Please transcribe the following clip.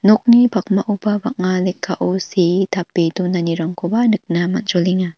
nokni pakmaoba bang·a lekkao see tape donanirangkoba nikna man·jolenga.